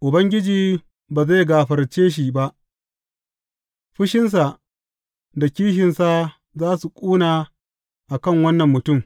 Ubangiji ba zai gafarce shi ba, fushinsa da kishinsa za su ƙuna a kan wannan mutum.